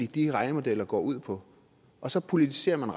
de regnemodeller går ud på og så politiserer man